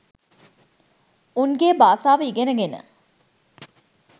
උන්ගේ බාසාව ඉගෙන ගෙන